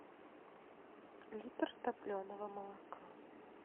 литр топленого молока